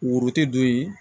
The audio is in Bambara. Woro te don yen